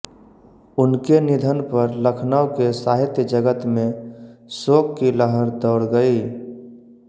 उनके निधन पर लखनऊ के साहित्य जगत में शोक की लहर दौड़ गई